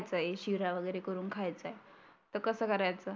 शिरा वगैरे करुण खायचा आहे. तर कसं करायचं?